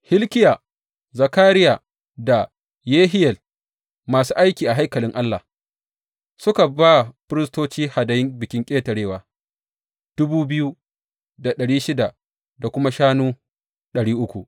Hilkiya, Zakariya da Yehiyel masu aiki a haikalin Allah, suka ba firistoci hadayun Bikin Ƙetarewa dubu biyu da ɗari shida da kuma shanu ɗari uku.